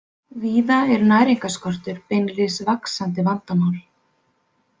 Víða er næringarskortur beinlínis vaxandi vandamál.